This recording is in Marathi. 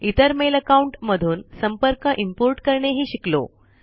इतर मेल आकाउन्ट मधून संपर्क इम्पोर्ट करणे हि शिकलो